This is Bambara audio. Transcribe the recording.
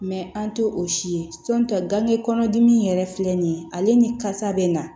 an tɛ o si ye gange kɔnɔdimi yɛrɛ filɛ nin ye ale ni kasa bɛ na